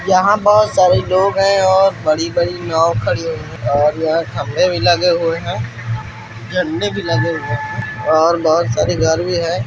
यहां बहुत सारे लोग हैं और बड़ी-बड़ी नाव खड़ी हुई और यहां खंभे भी लगे हुए है झंडे भी लगे हुए है और बाहर बहुत सारी गाड़ी है।